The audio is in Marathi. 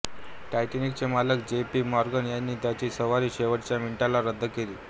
टायटॅनिक चे मालक जे पी मॉर्गन यांनी त्यांची सवारी शेवटच्या मिनिटाला रद्द केली